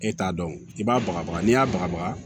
E t'a dɔn i b'a bagabaga n'i y'a bagabaga